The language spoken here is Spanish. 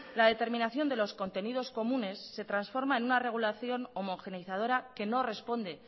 la determinación de los contenidos comunes se transforma en una regulación homogeneizadora que no responde